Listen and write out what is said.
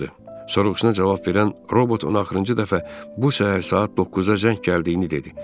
Soruğusuna cavab verən robot ona axırıncı dəfə bu səhər saat 9-da zəng gəldiyini dedi.